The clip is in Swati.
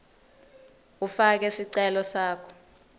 ufake sicelo sakho